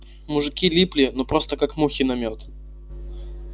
мужики липли ну просто как мухи на мёд